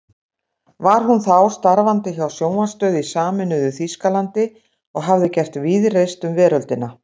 Var hún þá starfandi hjá sjónvarpsstöð í sameinuðu Þýskalandi og hafði gert víðreist um veröldina.